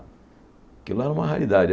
Aquilo era uma raridade.